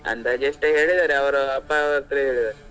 ಅಂದಾಜು ಎಷ್ಟೋ ಹೇಳಿದಾರೆ ಅವ್ರು ಅಪ್ಪ ಅವರತ್ರ ಹೇಳಿದ್ದಾರೆ.